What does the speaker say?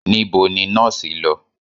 Nibo ni nọọsi lọ?